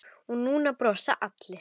Og nú brosa allir.